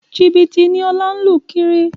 Jìbìtì ni Ọlá ń lù kiri